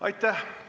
Aitäh!